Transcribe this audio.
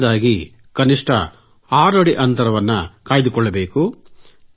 ಮೊದಲನೇದಾಗಿ ಕನಿಷ್ಟ 6 ಅಡಿ ಅಂತರ ಕೈಗೊಳ್ಳಬೇಕು